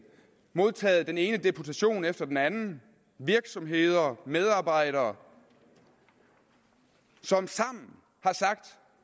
modtaget den ene deputation efter den anden virksomheder og medarbejdere som sammen